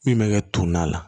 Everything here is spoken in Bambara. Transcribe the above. Min bɛ kɛ tumu na